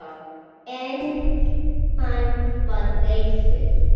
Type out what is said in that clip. En hann var reiður!